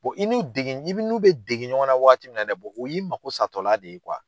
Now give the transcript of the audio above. i n'u dege i n'u bɛ dege ɲɔgɔn na wagati min na dɛ o y'i mako satɔla de ye